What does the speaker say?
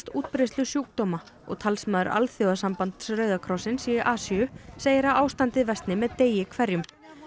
útbreiðslu sjúkdóma og talsmaður alþjóðasambands Rauða krossins í Asíu segir að ástandið versni með degi hverjum